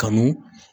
Kanu